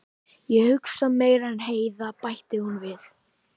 Ég hugsa meira en Heiða, bætti hún við.